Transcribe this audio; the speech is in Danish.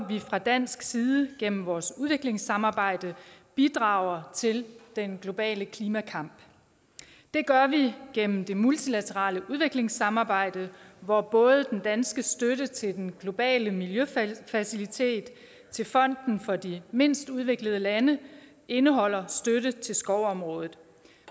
vi fra dansk side gennem vores udviklingssamarbejde bidrager til den globale klimakamp det gør vi gennem det multilaterale udviklingssamarbejde hvor både den danske støtte til den globale miljøfacilitet og til fonden for de mindst udviklede lande indeholder støtte til skovområdet